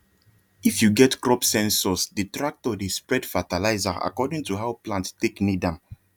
if you get crop sensorsthe tractor dey spread fertilizer according to how plant take need am